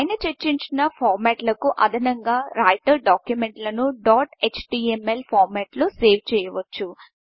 పైన చర్చించిన ఫార్మెట్లకు అదనంగా రైటర్ డాక్యుమెంట్లను డాట్ ఎచ్టీఎంఎల్ ఫార్మెట్లో సేవ్ చేయవచ్చు